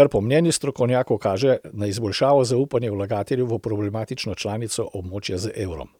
kar po mnenju strokovnjakov kaže na izboljšano zaupanje vlagateljev v problematično članico območja z evrom.